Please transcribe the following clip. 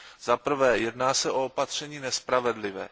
Zaprvé jedná se o opatření nespravedlivé.